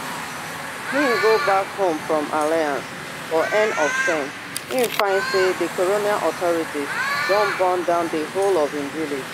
im go back home from alliance for end of term im find say di colonial authorities don burn down di whole of im village